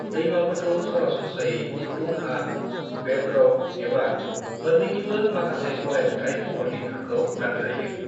दैमाफोरखौ सरासनस्रायै फुलुं हा, बेदरक, एबा मोन्नैनिबो माखासे गलाय-गथाय महरनि थाखोआव रानजायो।